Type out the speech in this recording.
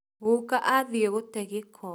Gũka athie gũte gĩko